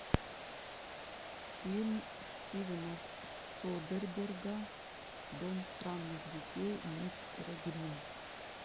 фильм стивена содерберга дом странных детей мисс перегрин